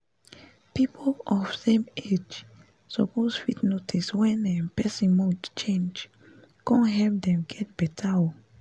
people of the same age suppose fit notice wen um person mood change con help dem get better um